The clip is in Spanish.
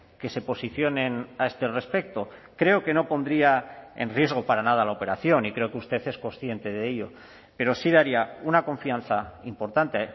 que se posicionen a este respecto creo que no pondría en riesgo para nada la operación y creo que usted es consciente de ello pero sí daría una confianza importante